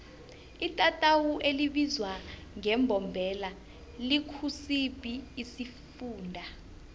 itatawu elibizwa ngembombela likusiphi isifunda